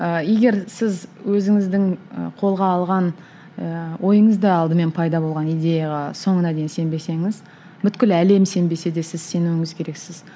ыыы егер сіз өзіңіздің ы қолға алған ыыы ойыңызда алдымен пайда болған идеяға соңына дейін сенбесеңіз бүткіл әлем сенбесе де сіз сенуіңіз керексіз